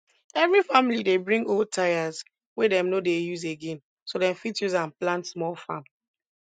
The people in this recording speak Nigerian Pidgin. every family dey bring old tyres wey dem no dey use again so dem fit use am plant small farm